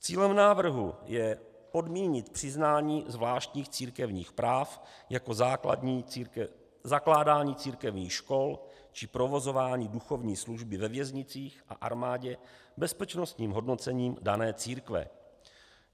Cílem návrhu je podmínit přiznání zvláštních církevních práv, jako zakládání církevních škol či provozování duchovní služby ve věznicích a armádě, bezpečnostním hodnocením dané církve.